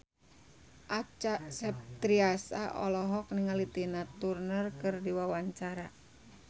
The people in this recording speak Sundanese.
Acha Septriasa olohok ningali Tina Turner keur diwawancara